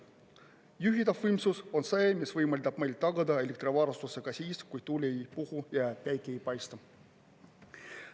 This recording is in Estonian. Juhitav võimsus on see, mis võimaldab meil tagada elektrivarustuse ka siis, kui tuul ei puhu ja päike ei paista.